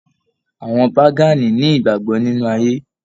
Àwọn Pagani ni ìgbàgbọ nínú ayé.